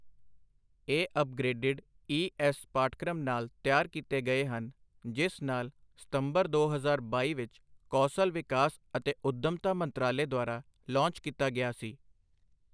ਇਹ upgraded E S ਪਾਠਕ੍ਰਮ ਨਾਲ ਤਿਆਰ ਕੀਤੇ ਗਏ ਹਨ, ਜਿਸ ਨਾਲ ਸਤੰਬਰ ਦੋ ਹਜ਼ਾਰ ਬਾਈ ਵਿੱਚ ਕੌਸਲ ਵਿਕਾਸ ਅਤੇ ਉੱਦਮਤਾ ਮੰਤਰਾਲੇ ਦੁਆਰਾ ਲਾਂਚ ਕੀਤਾ ਗਿਆ ਸੀ।